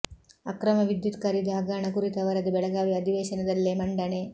ಅಕ್ರಮ ವಿದ್ಯುತ್ ಖರೀದಿ ಹಗರಣ ಕುರಿತ ವರದಿ ಬೆಳಗಾವಿ ಅಧಿವೇಶನದಲ್ಲೇ ಮಂಡನೆ